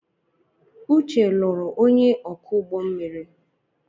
Uche nuru onye oku ugbommiri